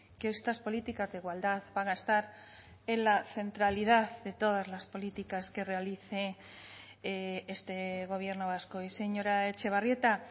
que estas políticas de igualdad van a estar en la centralidad de todas las políticas que realice este gobierno vasco y señora etxebarrieta